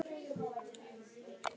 Síra Sigurður lét vera að spyrja.